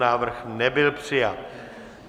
Návrh nebyl přijat.